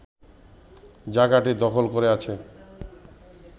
জায়গাটি দখল করে আছে